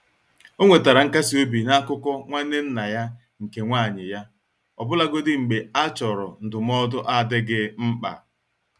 Ọ nwetara nkasi obi na akụkọ nwanne nna ya nke nwanyị ya, ọbụlagodi mgbe a chọrọ ndụmọdụ adịghị mkpa.